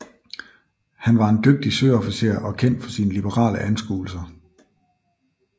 Han var en dygtig søofficer og kendt for sine liberale anskuelser